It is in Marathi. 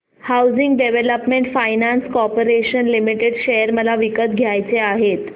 housing development finance corporation limited share मला विकत घ्यायचे आहेत